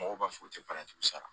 Mɔgɔw b'a fɔ u tɛ paranti sara